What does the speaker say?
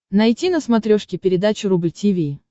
найти на смотрешке передачу рубль ти ви